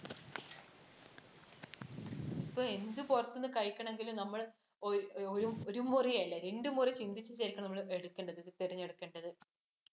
ഇപ്പോൾ എന്ത് പുറത്തൂന്ന് കഴിക്കണമെങ്കിലും ഒരു മുറ അല്ല രണ്ട മുറ ചിന്തിച്ചിട്ടാവും എടുക്കേണ്ടത്. തിരഞ്ഞെടുക്കേണ്ടത്.